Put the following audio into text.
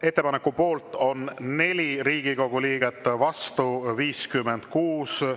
Ettepaneku poolt on 4 Riigikogu liiget, vastu 56.